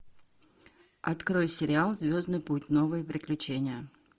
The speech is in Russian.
открой сериал звездный путь новые приключения